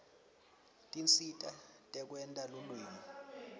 tinsita tekwenta lulwimi